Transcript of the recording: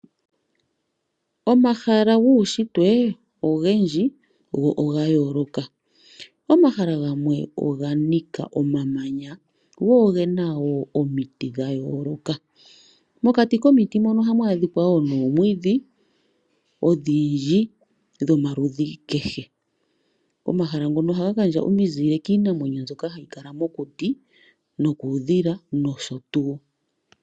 Omahala guunshitwe ogendji go oga yooloka. Omahala gamwe oga nika omamanya go oge na wo omiti dha yooloka. Mokati komiti mono ohamu adhika wo noomwiidhi odhindji dhomaludhi kehe. Omahala ngono ohaga gandja omizile kiinamwenyo mbyoka hayi kala mokuti nokuudhila nosho tuu.